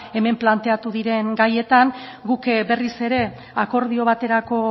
hemen planteatu diren gaietan guk berriz ere akordio baterako